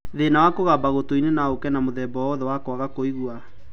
Thĩna wa kũgamba gũtũ-inĩ no ũke na mũthemba o wothe wa kwaga kũigua